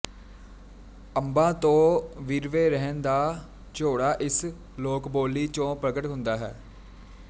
ਅੰਬਾਂ ਤੋਂ ਵਿਰਵੇ ਰਹਿਣ ਦਾ ਝੋਰਾ ਇਸ ਲੋਕਬੋਲੀ ਚੋਂ ਪ੍ਰਗਟ ਹੁੰਦਾ ਹੈ